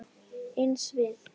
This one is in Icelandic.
Eins við